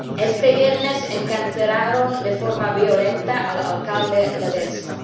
Este viernes encarcelaron de forma violenta al alcalde Ledezma.